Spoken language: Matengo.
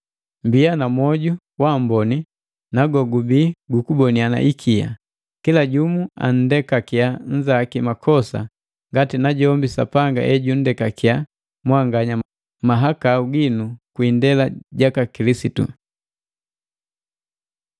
Mmbiya na mwoju wamboni na gogubii gukuboniana ikia, kila jumu andekakiya nnzaki makosa ngati najombi Sapanga ejunndekakiya mwanganya mahakau ginu kwi indela jaka Kilisitu.